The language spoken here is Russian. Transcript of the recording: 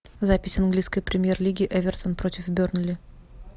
запись английской премьер лиги эвертон против бернли